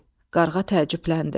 Qarğa təəccübləndi.